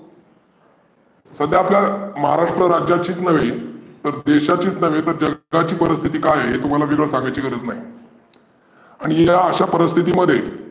सध्या आपल्या महाराष्ट्राचीच नव्हे पण देशाची चर्चा ही तुम्हाला वेगळी सांगायची गरज नाही. आणि या आशा परिस्थितीमध्ये